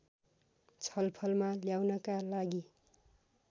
छलफलमा ल्याउनका लागि